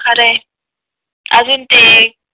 अरे अजून ते